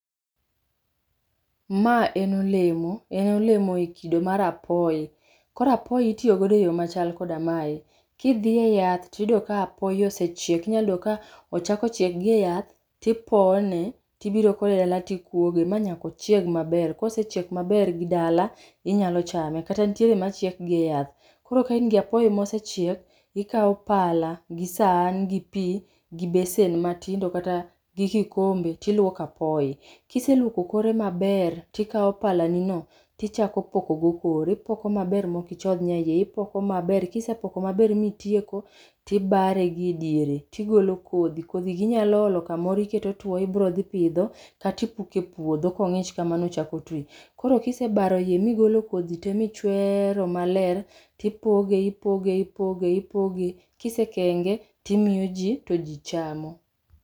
Ma en olemo, en olemo e kido mar apoy. Koro apoy itio godo e yoo machal koda mae; kidhie yath tiyudo ka apoy osechiek, inyayudo ka ochako chiek gi e yath ti pone tibiro kode dala tikuoge manyako chieg maber, kose chiek maber gi dala inyalo chame, kata ntiere machiek gie yath. Koro kain gi apoy mosechiek, ikao pala gi sani gi pii gi besen matindo kata gi kikombe ti lwoko apoy. Kiselwoko kore maber, ti kao pala nino tichako pokogo kore, ipoko maber mokichodh nyayie, ipoko maber kisepoko maber mitieko tibare gi e diere tigolo kodhi. Kodhi go inyalo olo kamoro iketo two ibro dhi pidho, katipuke puodho kong'ich kamano ochako twi. Korokisebaro yie migolo kodhi tee michwero maler tipoge ipoge ipoge, kisekenge timio jii to jii chamo.